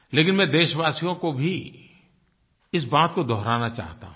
लेकिन मैं देशवासियो को भी इस बात को दोहराना चाहता हूँ